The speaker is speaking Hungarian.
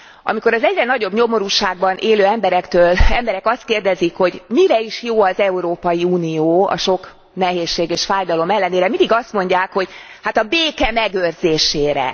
Amikor az egyre nagyobb nyomorúságban élő emberek azt kérdezik, hogy mire is jó az Európai Unió a sok nehézség és fájdalom ellenére, mindig azt mondják, hogy hát a béke megőrzésére.